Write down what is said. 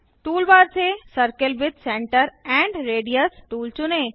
toolbar से circle with centre and radius tool चुनें